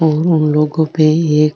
और उन लोगो पे एक --